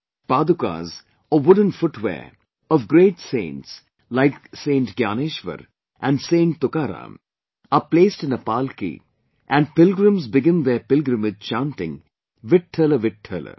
Wooden foot wear or padukas of great saints like Saint Gyaneshwar and Saint Tukaram are placed in a palki and pilgrims begin their pilgrimage chanting "VitthalVitthal"